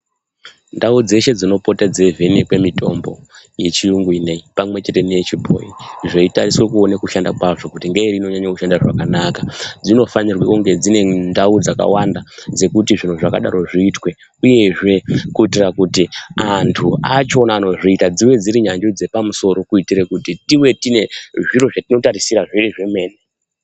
Ndau dzeshe dzinopote dzeivhenekwe mitombo yechiyungu inoyi pamwechete neyechibhoyi zveitariswe kuone kushanda kwazvo kuti ngeiri inonyanye kushanda zvakanaka dzinofanire kunge dzine ndau dzakawanda dzekuti zviro zvakadaro zviitwe uyezve kuitire kuti antu acho anozviita dzive dziri nyanzvi dzepamusoro kuitire kuti tiwe tinezviro zvatinotarisira zviri zvemene.